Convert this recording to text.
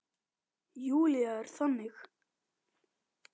Júlía er þannig.